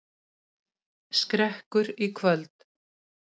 Skrekkur í kvöld